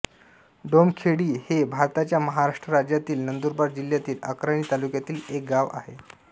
डोमखेडी हे भारताच्या महाराष्ट्र राज्यातील नंदुरबार जिल्ह्यातील अक्राणी तालुक्यातील एक गाव आहे